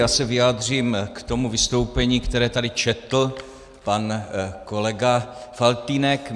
Já se vyjádřím k tomu vystoupení, které tady četl pan kolega Faltýnek.